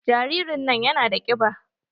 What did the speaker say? Jaririn nan yana da kiɓa.